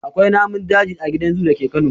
Akwai namun daji a gidan zoo dake Kano.